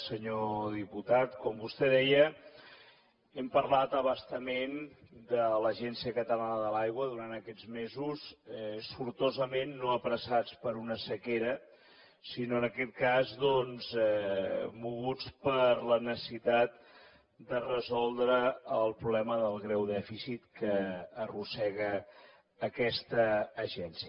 senyor diputat com vostè deia hem parlat a bastament de l’agència catalana de l’aigua durant aquests mesos sortosament no apressats per una sequera sinó en aquest cas doncs moguts per la necessitat de resoldre el problema del greu dèficit que arrossega aquesta agència